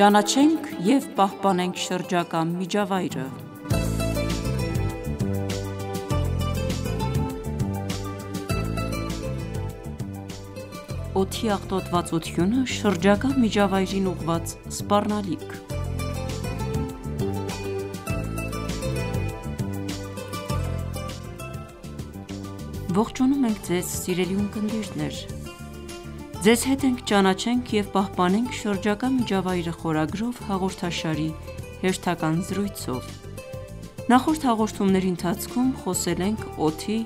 Ճանաչենք և պահպանենք շրջակա միջավայրը (31) Օդի աղտոտվածությունը շրջակա միջավայրին ուղղված սպառնալիք Ողջունում ենք Ձեզ սիրելի ունկնդիրներ: Ձեզ հետ ենք «Ճանաչենք և պահպանենք շրջակա միջավայրը» խորագրով հաղորդաշարի հերթական զրույցով: Նախորդ հաղորդումների ընթացքում խոսել ենք օդի,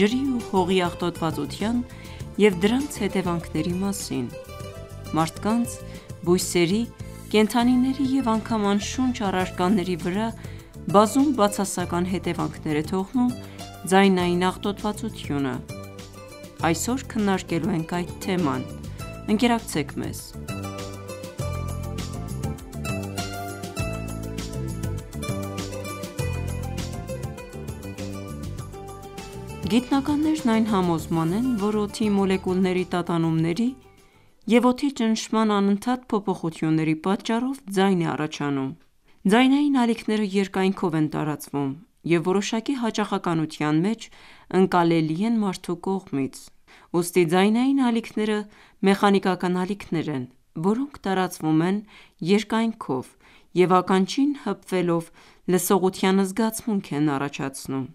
ջրի ու հողի աղոտվածության և դրանց հետևանքների մասին: Մարդկանց, բույսերի, կենդանիների և անգամ անշունչ առարկաների վրա բազում բացասական հետևանքներ է թողնում ձայնային աղտոտվածությունը: Այսօր քննարկելու ենք այդ թեման: Ընկերակցեք մեզ: Գիտնականներն այն համոզման են, որ օդի մոլեկուլների տատանումների և օդի ճնշման անընդհատ փոփոխությունների պատճառով ձայն է առաջանում: Ձայնային ալիքները երկայնքով են տարածվում և որոշակի հաճախանության մեջ ընկալելի են մարդու կողմից: Ուստի ձայնային ալիքները մեխանիկական ալիքներ են, որոնք տարածվում են երկայնքով և ականջին հպվելով, լսողության զգացմունք են առաջացնում: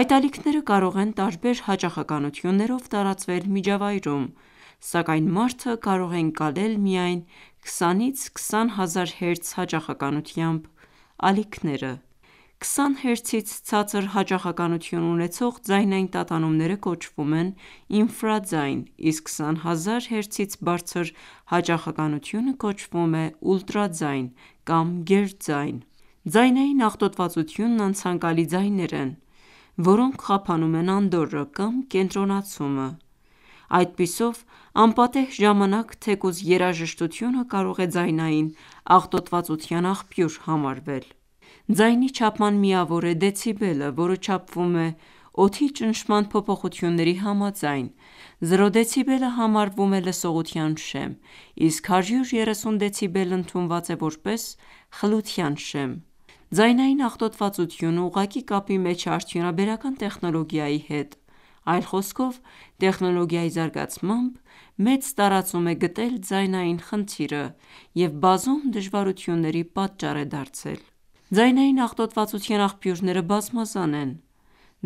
Այդ ալիքները կարող են տարբեր հաճախականություններով տարածվել միջավայրում, սակայն մարդը կարող է ընկալել միայն 20-20000 հերց հաճախականությամբ ալիքները: 20 հերցից ցածր հաճախականություն ունեցող ձայնային տատանումները կոչվում են ինֆրաձայն, իսկ 20000 հերցից բարձր հաճախականությունը կոչվում է ուլտրաձայն կամ գերձայն: Ձայնային աղտոտվածությունն անցանկալի ձայներ են, որոնք խափանում են անդորրը կամ կենտրոնացումը: Այդպիսով անպատեհ ժամանակ թեկուզ երաժշտությունը կարող է ձայնային աղտոտվածության աղբյուր համարվել: Ձայնի չափման միավոր է դեցիբելը, որը չափվում է օդի ճնշման փոփոխությունների համաձայն: Զրո դեցիբելը համարվում է լսողության շեմ, իսկ 130 դեցիբելն ընդունված է որպես խլության շեմ: Ձայնային աղտոտվածությունը ուղղակի կապի մեջ է արդյունաբերական տեխնոլոգիայի հետ, այլ խոսքով, տեխնոլոգիայի զարգացմամբ, մեծ տարածում է գտել ձայնային խնդիրը և բազում դժվարությունների պատճառ է դարձել: Ձայնային աղտոտվածության աղբյուրները բազմազան են: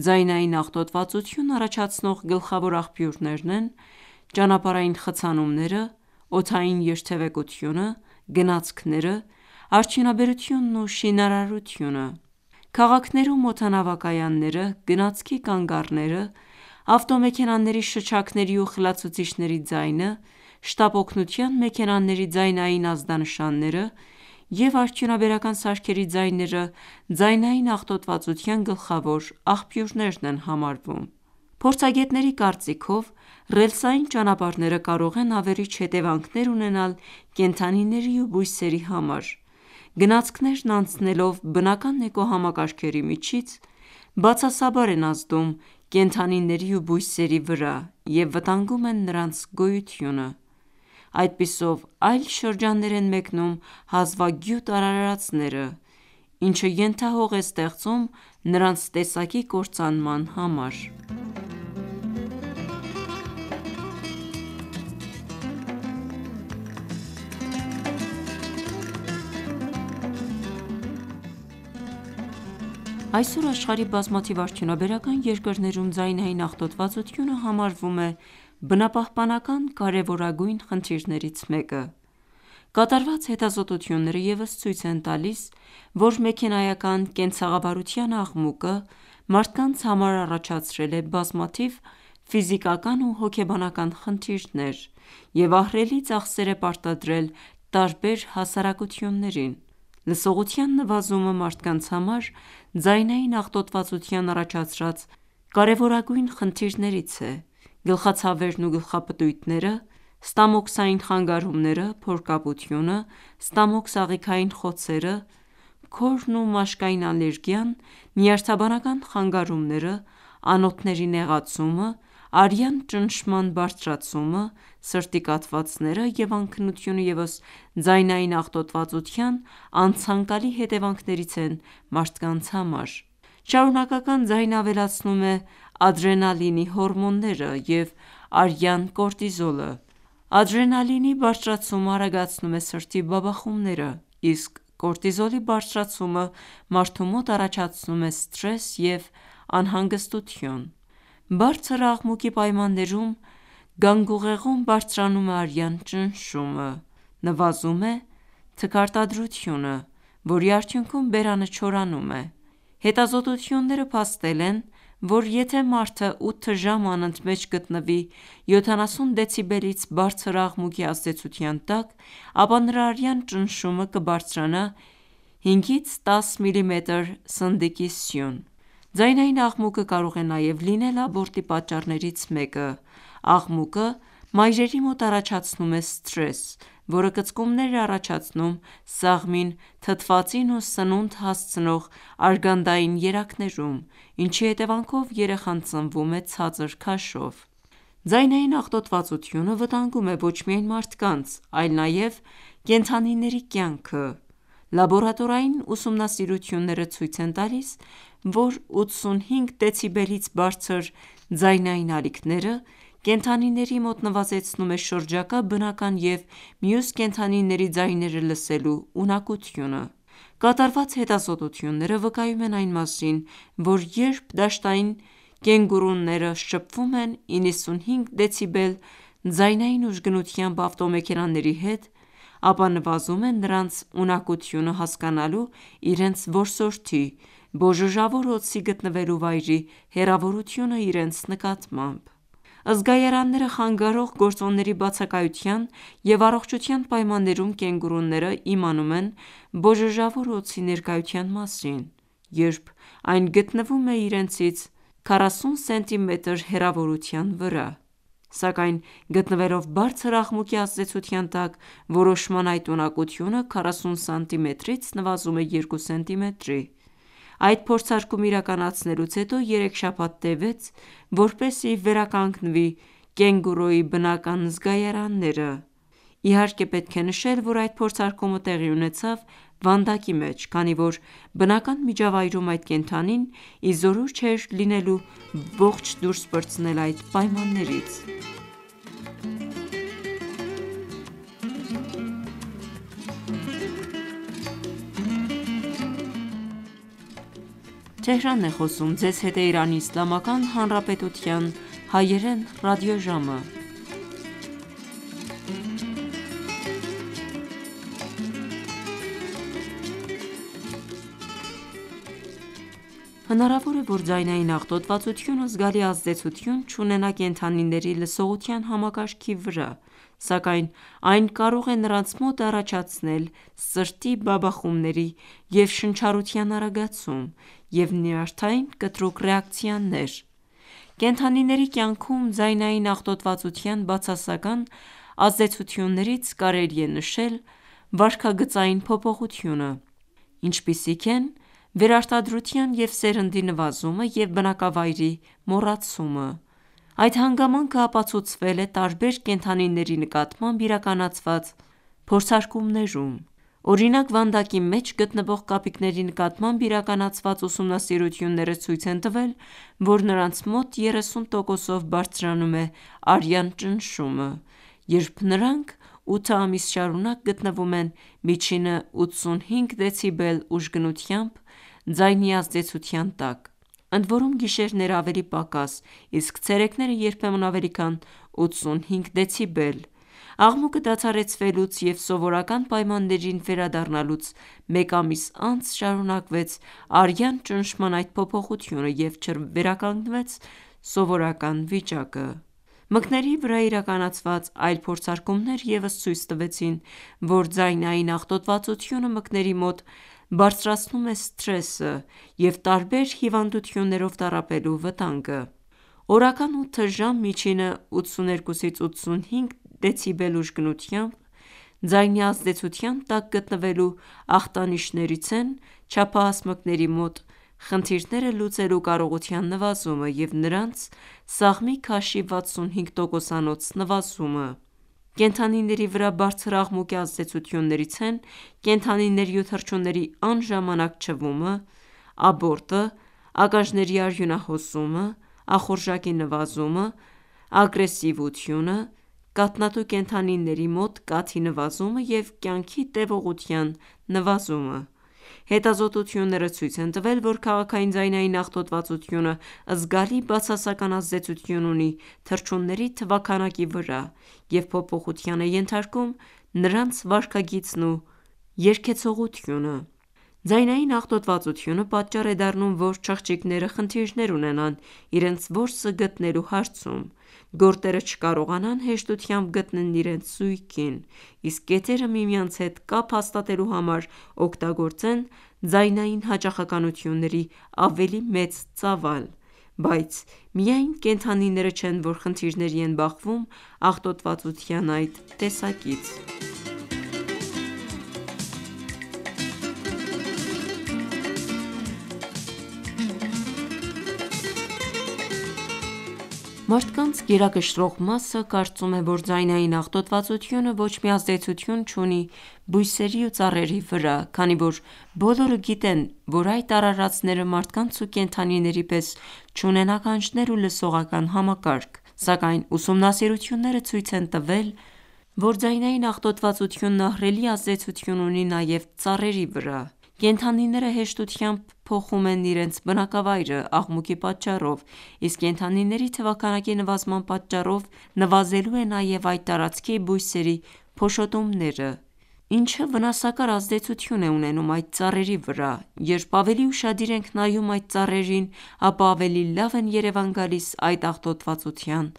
Ձայնային աղտոտվածություն առաջացնող գլխավոր աղբյուրներն են ճանապարհային խցանումները, օդային երթևեկությունը, գնացքները, արդյունաբերությունն ու շինարարությունը: Քաղաքներում օդանավակայանները, գնացքի կանգառները, ավտոմեքենաների շչակների ու խլացուցիչների ձայնը, շտապ օգնության մեքենաների ձայնային ազդանշանները և արդյունաբերական սարքերի ձայները ձայնային աղտոտվածության գլխավոր աղբյուրներն են համարվում: Փորձագետների կարծիքով, ռելսային ճանապարհները կարող են ավերիչ հետևանքներ ունենալ կենդանիների ու բույսերի համար: Գնացքներն անցնելով բնական էկոհամակարգերի միջից, բացասաբար են ազդում կենդանիների ու բույսերի վրա և վտանգում են նրանց գոյությունը: Այդպիսով այլ շրջաններ են մեկնում հազվագյուտ արարծները, ինչը ենթահող է ստեղծում նրանց տեսակի կործանման համար: Այսօր աշխարհի բազմաթիվ արդյունաբերական երկրներում ձայնային աղտոտվածությունը համարվում է բնապահպանական կարևորագույն խնդիրներից մեկը: Կատարված հետազոտությունները ևս ցույց են տալիս, որ մեքենայական կենցաղավարության աղմուկը մարդկանց համար առաջացրել է բազմաթիվ ֆիզիկական ու հոգեբանական խնդիրներ և ահռելի ծախսեր է պարտադրել տարբեր հասարակություններին: Լսողության նվազումը մարդկանց համար ձայնային աղտոտվածության առաջացրած կարևորագույն խնդիրներից է: Գլխացավերն ու գլխապտույտները, ստամոքսային խանգարումները, փորկապությունը, ստամոքս-աղիքային խոցերը, քորն ու մաշկային ալերգիան, նյարդաբանական խանգարումները, անոթների նեղացումը, արյան ճնշման բարձրացումը, սրտի կաթվածները և անքնությունը ևս ձայնային աղտոտվածության անցանկալի հետևանքներից են մարդկանց համար: Շարունակական ձայնը ավելացնում է ադրենալինի հորմոններն և արյան կորտիզոլը: Ադրենալինի բարձրացումը արագացնում է սրտի բաբախումները, իսկ կորտիզոլի բարձրացումը մարդու մոտ առաջացնում է սթրես և անհանգստություն: Բարձր աղմուկի պայմաններում գանգուղեղում բարձրանում է արյան ճնշումը, նվազում է թքարտադրությունը, որի արդյունքում բերանը չորանում է: Հետազոտությունները փաստել են, որ եթե մարդը 8 ժամ անընդմեջ գտնվի 70 դեցիբելից բարձր աղմուկի ազդեցության տակ, ապա նրա արյան ճնշումը կբարձրանա 5-10 միլիմետր սնդիկի սյուն: Ձայնային աղմուկը կարող է նաև լինել աբորտի պատճառներից մեկը: Աղմուկը մայրերի մոտ առաջացնում է սթրես, որը կծկումներ է առաջացնում սաղմին թթվածին ու սննունդ հասցնող արգանդային երակներում, ինչի հետևանքով երեխան ծնվում է ցածր քաշով: Ձայնային աղտոտվածությունը վտանգում է ոչ միայն մարդկանց, այլ նաև կենդանիների կյանքը: Լաբորատորային ուսումնասիրությունները ցույց են տալիս, որ 85 դեցիբելից բարձր ձայնային ալիքները կենդանիների մոտ նվազեցնում է շրջակա բնական և մյուս կենդանիների ձայները լսելու ունակությունը: Կատարված հետազոտությունները վկայում են այն մասին, որ երբ դաշտային կենգուրուները շփվում են 95 դեցիբել ձայնային ուժգնությամբ ավտոմեքենաների հետ, ապա նվազում է նրանց ունակությունը հասկանալու իրենց որսորդի՝ բոժոժավոր օձի գտնվելու վայրի հեռավորությունը իրենց նկատմամբ: Զգայարանները խանգարող գործոնների բացակայության և առողջության պայմաններում կենգուրուները իմանում են բոժոժավոր օձի ներկայության մասին, երբ այն գտնվում է իրենից 40սմ հեռավորության վրա, սակայն գտնվելով բարձր աղմուկի ազդեցության տակ, որոշման այդ ունակությունը 40սմ-ից նվազում է 2 սմ-ի: Այդ փորձարկումը իրականացնելուց հետո 3 շաբաթ տևեց, որպեսզի վերականգնվի կենգուրուի բնական զգայարանները, իհարկե պետք է նշել, որ այդ փորձարկումը տեղի ունեցավ վանդակի մեջ, քանի որ բնական միջավայրում այդ կենդանին ի զորու չէր լինելու ողջ դուրս պրծնել այդ պայմաններից: Հնարավոր է, որ ձայնային աղտոտվածությունը զգալի ազդեցություն չունենա կենդանիների լսողության համակարգի վրա, սակայն այն կարող է նրանց մոտ առաջացնել սրտի բաբախումների և շնչառության արագացում և նյարդային կտրուկ ռեակցիաներ: Կենդանիների կյանքում ձայնային աղտոտվածության բացասական ազդեցություններից կարելի է նշել վարքագծային փոփոխությունը, ինչպիսիք են վերարտադրության և սերնդի նվազումը և բնակավայրի մոռացումը: Այդ հանգամանքը ապացուցվել է տարբեր կենդանիների նկատմամբ իրականացված փորձարկումներում: Օրինակ վանդակի մեջ գտնվող կապիկների նկատմամբ իրականացված ուսումնասիրությունները ցույց են տվել, որ նրանց մոտ 30 տոկոսով բարձրանում է արյան ճնշումը, երբ նրանք 8 ամիս շարունակ գտնվում են միջինը 85 դեցիբել ուժգնությամբ ձայնի ազդեցության տակ, ընդորում գիշերները ավելի պակաս, իսկ ցերեկները երբեմն ավելի քան 85 դեցիբել: Աղմուկը դադարեցվելուց և սովորական պայմաններին վերադառնալուց մեկ ամիս անց շարունակվեց արյան ճնշման այդ փոփոխությունը և չվերականգնվեց սովորական վիճակը: Մկների վրա իրականացված այլ փորձարկումներ ևս ցույց տվեցին, որ ձայնային աղտոտվածությունը մկների մոտ բարձրացնում է սթրեսը և տարբեր հիվանդություններով տառապելու վտանգը: Օրական 8 ժամ միջինը 82-85 դեցիբել ուժգնությամբ ձայնի ազդեցության տակ գտնվելու ախտանիշերից են չափահաս մկների մոտ խնդիրները լուծելու կարողության նվազումը և նրանց սաղմի քաշի 65 տոկոսանոց նվազումը: Կենդանիների վրա բարձր աղմուկի ազդեցություններից են կենդանիների ու թռչունների անժամանակ չվումը, աբորտը, ականջների արյունահոսումը, ախորժակի նվազումը, ագրեսիվությունը, կաթնատու կենդանիների մոտ կաթի նվազումը և կյանքի տևողության նվազումը: Հետազոտությունները ցույց են տվել, որ քաղաքային ձայնային աղտոտվածությունը զգալի բացասական ազդեցություն ունի թռչունների թվաքանակի վրա և փոփոխության է ենթարկում նրանց վարքագիծն ու երգեցողությունը: Ձայնային աղտոտվածությունը պատճառ է դառնում, որ չղջիկները խնդիրներ ունենան իրենց որսը գտնելու հարցում, գորտերը չկարողանան հեշտությամբ գտնեն իրենց զույգին, իսկ կետերը միմյանց հետ կապ հաստատելու համար օգտագործեն ձայնային հաճախականությունների ավելի մեծ ծավալ: Բայց միայն կենդանիները չեն, որ խնդիրների են բախվում աղտոտվածության այդ տեսակից: Մարդկանց գերակշռող մասը կարծում է, որ ձայնային աղտոտվածությունը ոչ մի ազդեցություն չունի բույսերի ու ծառերի վրա, քանի որ բոլորը գիտեն, որ այդ արարածները մարդկանց ու կենդանիների պես չունեն ականջներ ու լսողական համակարգ, սակայն ուսումնասիրությունները ցույց են տվել, որ ձայնային աղտոտվածությունը ահռելի ազդեցություն ունի նաև ծառերի վրա: Կենդանիները հեշտությամբ փոխում են իրենց բնակավայրը աղմուկի պատճառով, իսկ կենդանիների թվաքանակի նվազման պատճառով նվազելու է նաև այդ տարածքի բույսերի փոշոտումները, ինչը վնասակար ազդեցություն է ունենում այդ ծառերի վրա: Երբ ավելի ուշադիր ենք նայում այդ ծառերին, ապա ավելի լավ են երևան գալիս այդ աղտոտվածության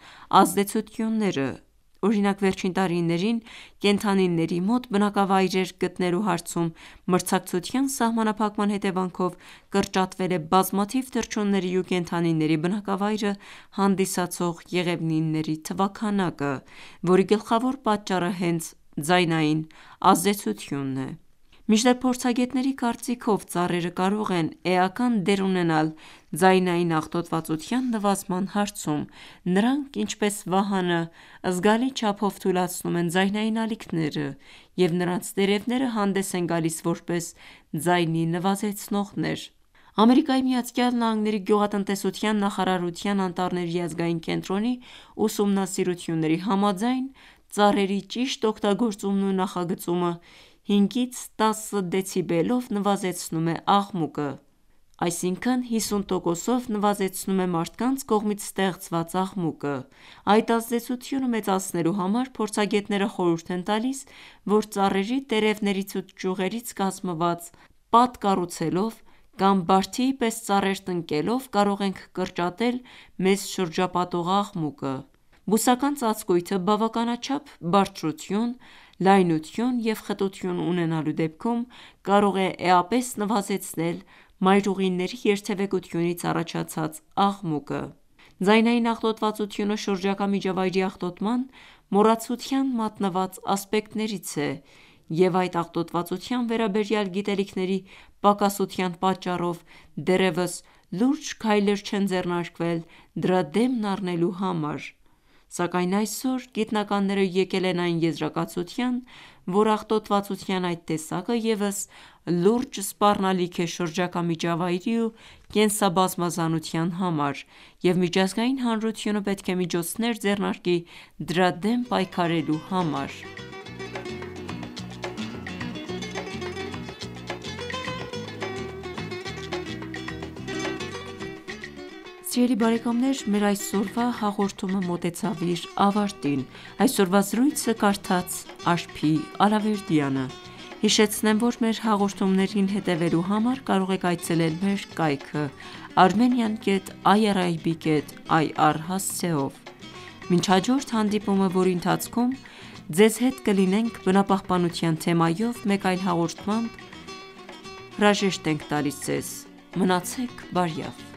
ազդեցությունները: Օրինակ՝ Վերջին տարիներին կենդանիների մոտ բնակավայրեր գտնելու հարցում մրցակցության սահմանափակման հետևանքով կրճատվել է բազմաթիվ թռչունների ու կենդանիների բնակավայրը հանդիսացող եղևնիների թվաքանակը, որի գլխավոր պատճառը հենց ձայնային ազդեցությունն է: Մինչդեռ փորձագետների կարծիքով, ծառերը կարող են էական դեր ունենալ ձայնային աղտոտվածության նվազման հարցում: Նրանք, ինչպես վահանը, զգալի չափով թուլացնում են ձայնային ալիքները և նրանց տերևները հանդես են գալիս որպես ձայնի նվազեցնողներ: ԱՄՆ-ի գյուղատնտեսության նախարարության անտառների ազգային կենտրոնի ուսումնասիրությունների համաձայն, ծառերի ճիշտ օգտագործումն ու նախագծումը 5-10 դեցիբելով նվազեցնում է աղմուկը, այսինքն 50 տոկոսով նվազեցնում է մարդկանց կողմից ստեղծված աղմուկը: Այդ ազդեցությունը մեծացնելու համար, փորձագետները խորհուրդ են տալիս, որ ծառերի տերևներից ու ճյուղերից կազմված պատ կառուցելով կամ բարդիի պես ծառեր տնկելով կարող ենք կրճատել մեզ շրջապատող աղմուկը: Բուսական ծածկույթը բավականաչափ բարձրություն, լայնություն և խտություն ունենալու դեպքում կարող է էապես նվազեցնել մայրուղիների երթևեկությունից առաջացած աղմուկը: Ձայնային աղտոտվածությունը շրջակա միջավայրի աղտոտման մոռացության մատնված ասպեկտներից է և այդ աղտոտվածության վերաբերյալ գիտելիքների պակասության պատճառով դեռևս լուրջ քայլեր չեն ձեռնարկվել դրա դեմն առնելու համար: Սակայն այսօր գիտնականներն եկել են այն եզրակացության, որ աղտոտվածության այդ տեսակը ևս լուրջ սպառնալիք է շրջակա միջավայրի ու կենսաբազմազանության համար և միջազգային հանրությունը պետք է միջոցներ ձեռնարկի դրա դեմ պայքարելու համար: Սիրելի բարեկամներ, մեր այսօրվա հաղորդումը մոտեցավ իր ավարտին: Մինչ հաջորդ հանդիպումը, որի ընթացքում ձեզ հետ կլինենք բնապահպանության թեմայով մեկ այլ հաղորդմամբ, մենք ձեզ հրաժեշտ ենք տալիս: Մնացեք բարյավ: